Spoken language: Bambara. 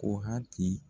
Ko hakili